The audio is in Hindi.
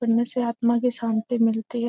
पुण्य से आत्मा की शांति मिलती है।